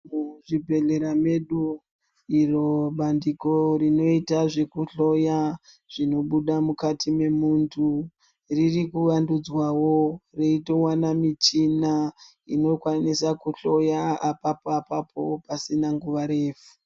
Muchibhedhlera medu, iro bandiko rinoita zvekuhloya, zvinobuda mukati memuntu, riri kuvandudzwawo reitowana michina inokwanisa kuhloya apapo-apapo pasina nguva refu.